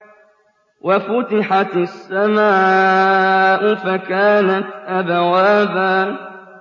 وَفُتِحَتِ السَّمَاءُ فَكَانَتْ أَبْوَابًا